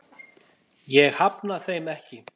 Ég hafna þeim ekki.